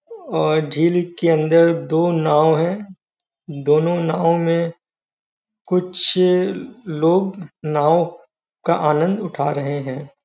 अ झील के अंदर दो नांव हैं। दोनों नांव में कुछ लोग नांव का आनंद उठा रहे हैं।